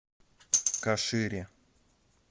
кашире